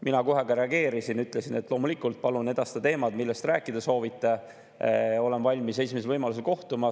Mina kohe ka reageerisin: ütlesin, et loomulikult, palun edasta teemad, millest rääkida soovite, olen valmis esimesel võimalusel kohtuma.